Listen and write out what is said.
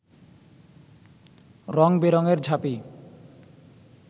রং-বেরঙের ঝাঁপি